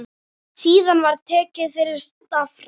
Síðan var tekið til starfa.